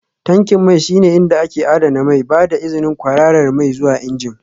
Tankin mai shine inda ake adana mai, ba da izinin kwararar mai zuwa injin